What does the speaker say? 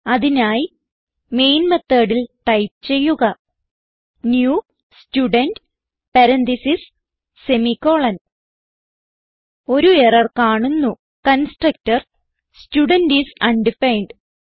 അതിനായി മെയിൻ methodൽ ടൈപ്പ് ചെയ്യുക new student parentheses semicolon ഒരു എറർ കാണുന്നു കൺസ്ട്രക്ടർ സ്റ്റുഡെന്റ് ഐഎസ് അണ്ടഫൈൻഡ്